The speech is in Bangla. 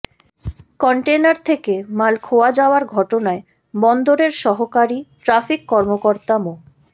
কনটেইনার থেকে মাল খোয়া যাওয়ার ঘটনায় বন্দরের সহকারী ট্রাফিক কর্মকর্তা মো